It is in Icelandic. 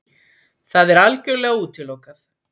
Það er algjörlega útilokað!